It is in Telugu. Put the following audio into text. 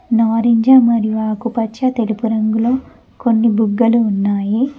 నారింజ మరియు ఆకుపచ్చ తెలుపు రంగులో కొన్ని బుగ్గలు ఉన్నాయి.